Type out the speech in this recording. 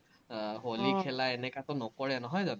আহ হলি এনেকাতো নকৰে নহয় জানো?